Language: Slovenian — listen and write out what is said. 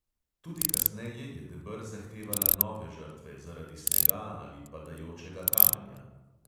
Tudi kasneje je deber zahtevala nove žrtve, zaradi snega ali padajočega kamenja.